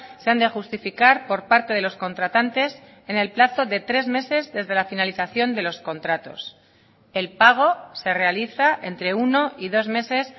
se han de justificar por parte de los contratantes en el plazo de tres meses desde la finalización de los contratos el pago se realiza entre uno y dos meses